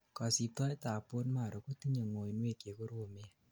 kosibtoet ab Bone marrow ko tinyei ngoinwek chekoromen